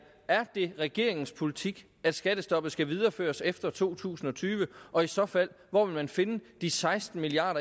er det regeringens politik at skattestoppet skal videreføres efter to tusind og tyve og i så fald hvor vil man finde de seksten milliard